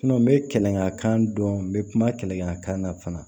n bɛ kɛlɛkɛ kan dɔn n bɛ kuma kɛlɛmakan na fana